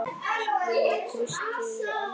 Rúin trausti í annað sinn.